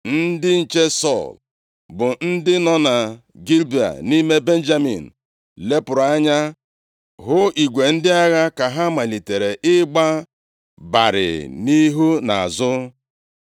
Ndị nche Sọl, bụ ndị nọ na Gibea nʼime Benjamin, lepụrụ anya hụ igwe ndị agha ka ha malitere ịgba barịị nʼihu na-azụ.